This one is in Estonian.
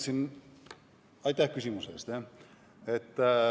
Jaa, aitäh küsimuse eest!